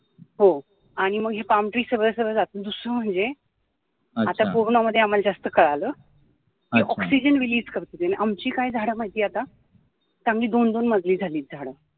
हो आणि मग हे palm tree सगळं सगळं आता corona मध्ये आम्हाला जास्त कळालं कि oxygen release करतात आणि आमची काय झाडं माहितीये आता चांगली दोन दोन माजली झालीत झाडं